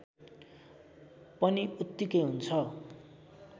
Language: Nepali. पनि उत्तिकै हुन्छ